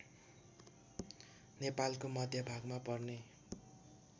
नेपालको मध्यभागमा पर्ने